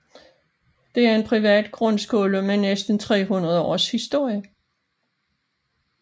Det er en privat grundskole med næsten 300 års historie